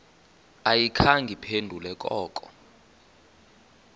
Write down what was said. ayikhange iphendule koko